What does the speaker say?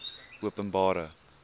openbare